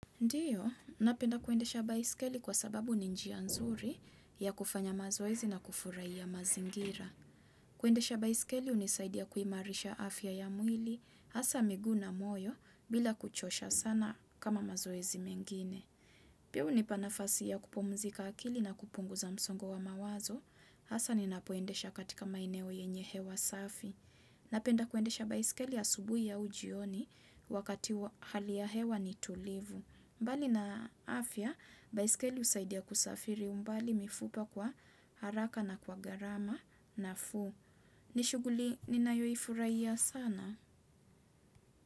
Ndiyo, napenda kuendesha baisikeli kwa sababu ni njia nzuri ya kufanya mazoezi na kufurahia mazingira. Kuendesha baisikeli unisaidia kuimarisha afya ya mwili, hasa miguu na moyo, bila kuchosha sana kama mazoizi mengine. Pia huni pa nafasi ya kupumzika akili na kupunguza msongo wa mawazo, hasa ni napoendesha katika maeneo yenye hewa safi. Napenda kuendesha baisikeli asubui au jioni wakati hali ya hewa ni tulivu. Mbali na afya, baisikeli husaidia kusafiri umbali mifupa kwa haraka na kwa gharama nafuu. Nishughuli, nina yoifurahia sana.